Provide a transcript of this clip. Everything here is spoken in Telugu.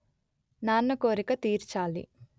నాన్న కోరిక తీర్చాలి